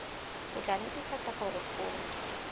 o tla netefatsa gore o